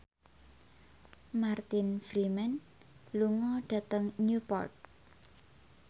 Martin Freeman lunga dhateng Newport